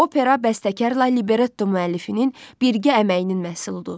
Opera bəstəkarla libretto müəllifinin birgə əməyinin məhsuludur.